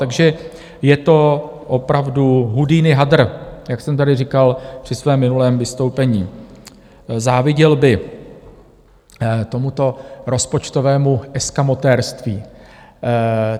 Takže je to opravdu Houdini hadr, jak jsem tady říkal při svém minulém vystoupení - záviděl by tomuto rozpočtovému eskamotérství.